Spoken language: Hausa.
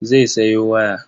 Zai sayo waya.